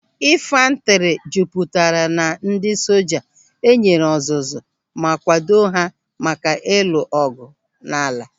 Infantri jupụtara na ndị soja enyere ọzụzụ ma kwado ha maka ịlụ ọgụ n'ala.